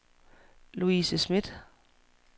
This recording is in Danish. Louise Smidt